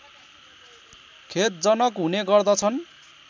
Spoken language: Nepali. खेदजनक हुने गर्दछन्